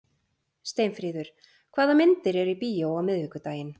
Steinfríður, hvaða myndir eru í bíó á miðvikudaginn?